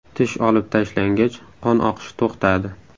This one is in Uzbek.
Tish olib tashlangach, qon oqishi to‘xtadi.